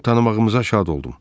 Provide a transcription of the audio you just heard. Onu tanımağımıza şad oldum.